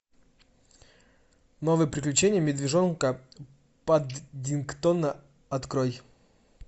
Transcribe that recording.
новые приключения медвежонка паддингтона открой